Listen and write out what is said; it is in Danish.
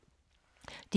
DR K